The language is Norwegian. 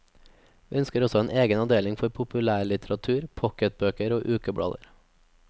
Vi ønsker også en egen avdeling for populærlitteratur, pocketbøker og ukeblader.